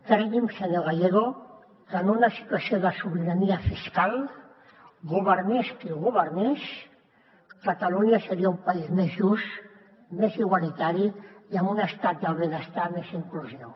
cregui’m senyor gallego que en una situació de sobirania fiscal governés qui governés catalunya seria un país més just més igualitari i amb un estat del benestar més inclusiu